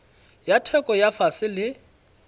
ya theko ya fase le